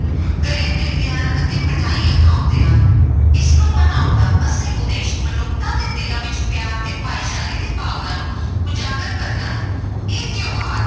ਗਲੇ ਮਿਲਦੇ ਹਨ ਅਤੇ ਮਠਿਆਈਆਂ ਖਵਾਉਂਦੇ ਹਨ, ਇਸਨੂੰ ਮਨਾਉਣ ਦਾ ਅਸਲ ਉਦੇਸ਼ ਮਨੁੱਖਤਾ ਦੇ ਦਿਲਾਂ ਵਿੱਚ ਪਿਆਰ ਅਤੇ ਭਾਈਚਾਰੇ ਦੀ ਭਾਵਨਾ ਨੂੰ ਉਜਾਗਰ ਕਰਨਾ ਹੈ ਇਹ ਤਿਉਹਾਰ